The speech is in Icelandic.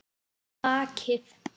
Á bakið.